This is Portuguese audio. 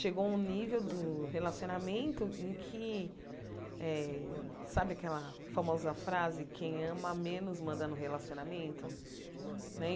Chegou a um nível do relacionamento em que eh... Sabe aquela famosa frase, quem ama menos manda no relacionamento né? Uhum